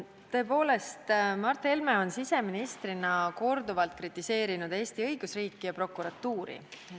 Tõepoolest, Mart Helme on siseministrina korduvalt kritiseerinud Eesti õigusriiki ja prokuratuuri.